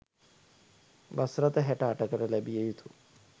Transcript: bus රථ හැට අටකට ලැබිය යුතු